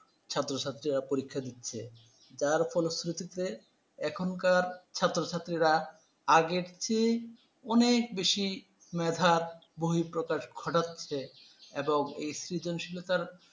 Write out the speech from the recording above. ছাত্রছাত্রীরা পরীক্ষা দিচ্ছে। তার ফলস্রুতিতে এখনকার ছাত্রছাত্রীরা, আগের চেয়ে অনেক বেশি মেধার বহিঃপ্রকাশ ঘটাচ্ছে এবং সৃজনশীলতার